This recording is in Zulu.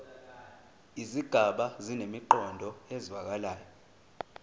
izigaba zinemiqondo ezwakalayo